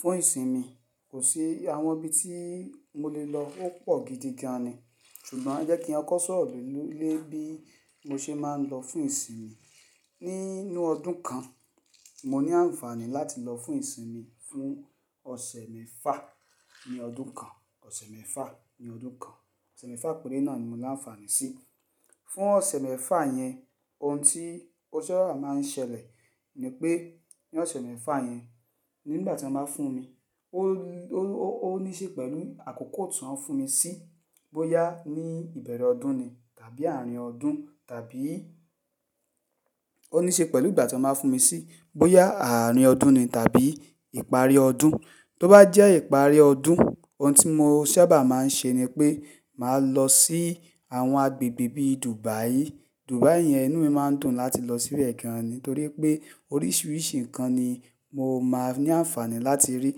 Fún ìsinmi, kò sí àwọn ibi tí mo lè lọ ó pọ̀ gidi gan ni. Ṣùgbọ́n ẹ́ kí n kọ sọ́rọ̀ lé bí mo ṣe máa ń lọ fún ìsinmi. Nínú ọdún kan, mo ní ànfàní láti lọ fún ìsinmi fún ọ̀sẹ̀ mẹ́fà ní ọdún kan, ọ̀sẹ̀ mẹ́fà ní ọdún kan. Ọ̀sẹ̀ mẹ́fà péré náà ni mo lá ńfàní sí. Fún ọ̀sẹ̀ mẹ́fà yẹn, ohun tí ó sábà máa ń ṣẹlẹ̀ ni pé ní ọ̀sẹ̀ mẹ́fà yẹn, nígbà tí wọ́n bá fún mi, ó, ó, ó níṣe pẹ̀lú àkókò tó ń fún mi sí, bóyá ní ìbẹ̀rẹ̀ ọdún ni tàbí àárín ọdún tàbí-- ó níṣe pẹ̀lú ìgbà tí wọ́n máa fún mi sí, bóyá àárín ọdún ni tàbí ìparí ọdún. Tó bá jẹ́ ìparí ọdún, ohun tí mo sábà máa ń ṣe ni pé màá lọ sí àwọn agbègbè bíi Dubai. Dubai yẹn, inú mi máa ń dùn láti lọ síbẹ̀ gan ni nítorí pé oríṣiríṣi nǹkan ni mo máa ní ànfàní láti rí,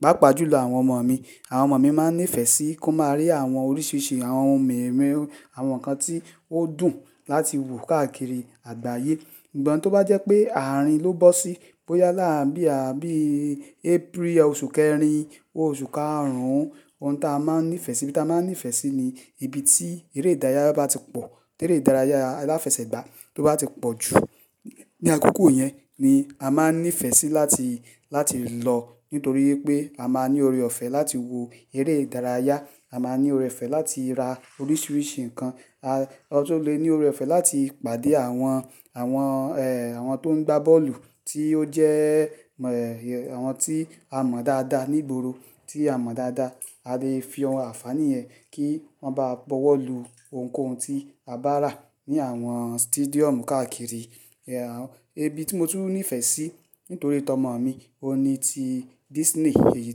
pàápàá jùlọ àwọn ọmọ mi. Àwọn ọmọ mi máa ń nífẹ̀ẹ́ sí kó máa rí àwọn oríṣiríṣi àwọn ohun mìí, àwọn nǹkan tí ó dùn láti wò káàkiri àgbáyé. Ìgbà tó bá jẹ́ pé àárín ló bọ́ sí, bóyá láà bí, bí April, oṣù kẹrin, oṣù karùn-ún, ohun tí a máa ń nífẹ̀ẹ́ sí, tí a máa ń nífẹ̀ẹ́ sí ni ibi tí eré ìdárayá bá ti pọ̀, tí eré ìdárayá aláfẹsẹ̀gbá tó bá ti pọ̀ jù. Ní àkókò yẹn ni a máa ń nífẹ̀ẹ́ sí láti, láti lọ nítorí pé a máa ní ọ̀rẹ́ ọ̀fẹ́ láti wo eré ìdárayá, a máa ní ọ̀rẹ́ ọ̀fẹ́ láti ra oríṣiríṣi nǹkan. A tún le ní ọ̀rẹ́ ọ̀fẹ́ láti pàdé àwọn, àwọn, ẹ́, àwọn tó ń gbá bọ́ọ̀lù tí ó jẹ́ẹ́, àwọn tí a mọ̀ dáadáa, ní ìgboro tí a mọ̀ dáadáa. A lè fi àwọn àfàní ẹ kí wọ́n bá bọwọ́ lu ohunkóhun tí a bá rà ní àwọn stadium káàkiri. Ẹ̀, ibi tí mo tún nífẹ̀ẹ́ sí nítorí tọ́ ọmọ mi, òní ti Disney, èyí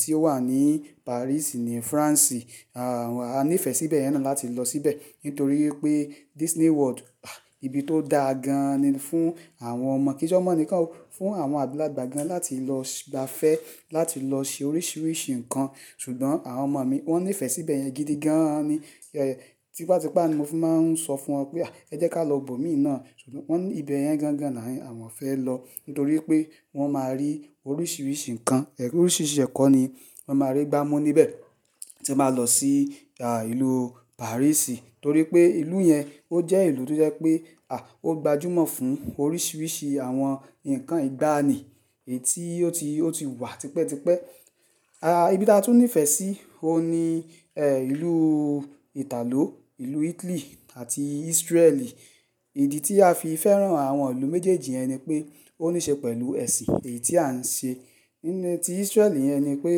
tí ó wà ní Paris ní France. A nífẹ̀ẹ́ síbẹ̀ yẹn náà láti lọ síbẹ̀ nítorí pé Disney World, ah! Ibi tó dáa gan ni fún àwọn ọmọ. Kì se ọmọ nìkan o, fún àwọn àgbàlagbà gan láti lọ gba fẹ́ láti lọ ṣe oríṣiríṣi nǹkan. Ṣùgbọ́n àwọn ọmọ mi wọ́n nífẹ̀ẹ́ síbẹ̀ yẹn gidi gan ni. Ẹ̀, tipátipá ni mo fi máa ń sọ fún wọn pé, "Ẹ jẹ́ ká lọ bòmíì náà." Ṣùgbọ́n wọ́n ní ibẹ̀ yẹn gan gan náà ni àwọn fẹ́ lọ nítorí pé wọ́n máa rí oríṣiríṣi nǹkan, oríṣiríṣi ẹ̀kọ́ ni wọ́n máa rí gbámu níbẹ̀. Ti mo bá lọ sí, à, ìlú Paris nítorí pé ìlú yẹn ó jẹ́ ìlú tó jẹ́ pé, à, ó gbajúmọ̀ fún oríṣiríṣi àwọn nǹkan ìgbàanì èyí tí ó ti, ó ti wà tipẹ́tipẹ́. A, ibi tí a tún nífẹ̀ẹ́ sí ó ní, ẹ́, ìlú Italo, ìlú Italy àti Israel. Ìdí tí a fi fẹ́ràn àwọn ìlú méjèèjì yẹn ni pé ó níṣe pẹ̀lú ẹ̀sìn èyí tí à ń ṣe. Níní tí Israel yẹn ni pé,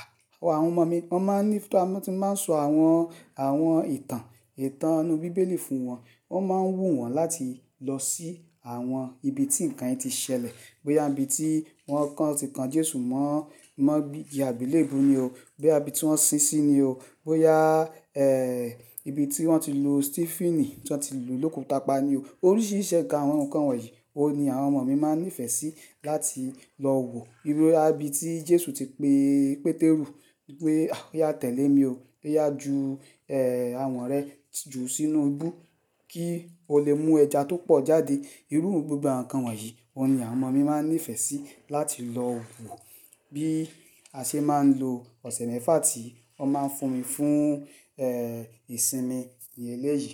à, àwọn ọmọ mi wọ́n máa ń níi máa sọ àwọn, àwọn ìtàn, ìtàn inú bíbélì fún wọn, wọ́n máa ń wù wọ́n láti lọ sí àwọn ibi tí nǹkan yen ti ṣẹlẹ̀. Bóyá ibi tí wọ́n kàn, tí kan Jésù mọ́, mọ́, ìgbelebu ni o, bóyá ibi tí wọ́n sín sí ni o, bóyá, ẹ́, ibi tí wọ́n ti lu Stífínì, tí wọ́n ti lu lóko tàpá ni o. Oríṣiríṣi ẹ̀ka àwọn nǹkan wọ̀nyí, ó ni àwọn ọmọ mi máa ń nífẹ̀ẹ́ sí láti lọ wo. Bóyá ibi tí Jésù ti pe Pétérù pé, "Ah! Oya tẹ̀lé mi o. Oya jú, ẹ́, àwọn rẹ jù sínú ibu kí o lè mú ẹja tó pọ̀ jáde." Irú gbogbo àwọn nǹkan wọ̀nyí ni àwọn ọmọ mi máa ń nífẹ̀ẹ́ sí láti lọ wo bí a ṣe máa ń lo ọ̀sẹ̀ mẹ́fà tí wọ́n máa ń fún mi fún, ẹ́, ìsinmi ní eléyìí.